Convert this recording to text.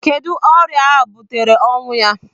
Kedụ ọrịa butere ọnwụ ya?